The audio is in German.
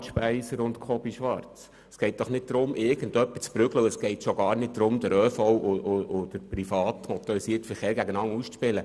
Grossrätin Speiser und Grossrat Schwarz, es geht doch nicht darum, irgendjemanden zu prügeln, und es geht schon gar nicht darum, den ÖV und den privaten motorisierten Verkehr gegeneinander auszuspielen.